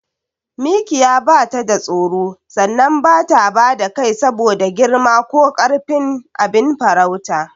Mikiya batada tsoro sannan bata bada kai saboda girma ko karfin abin farautarta.